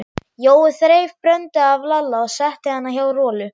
Jói þreif Bröndu af Lalla og setti hana hjá Rolu.